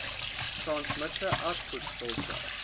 transmitter output filter